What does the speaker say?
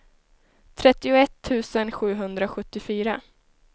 trettioett tusen sjuhundrasjuttiofyra